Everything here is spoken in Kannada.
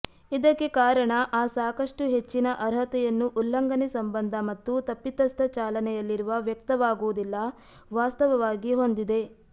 ಇದಕ್ಕೆ ಕಾರಣ ಆ ಸಾಕಷ್ಟು ಹೆಚ್ಚಿನ ಅರ್ಹತೆಯನ್ನು ಉಲ್ಲಂಘನೆ ಸಂಬಂಧ ಮತ್ತು ತಪ್ಪಿತಸ್ಥ ಚಾಲನೆಯಲ್ಲಿರುವ ವ್ಯಕ್ತವಾಗುವುದಿಲ್ಲ ವಾಸ್ತವವಾಗಿ ಹೊಂದಿದೆ